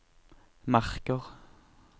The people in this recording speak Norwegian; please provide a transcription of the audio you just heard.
Marker